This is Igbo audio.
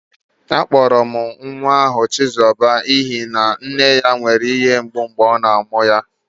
Akpọrọ nwa ahụ chizoba n'ihi na nne ya nwere ihe mgbu mgbe ọ na-amụ nwa